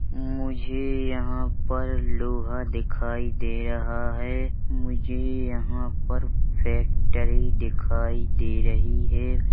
मुझे यहाँ पर लोहा दिखाई दे रहा है मुझे यहां पर फैक्ट्री दिखाई दे रही हैं ।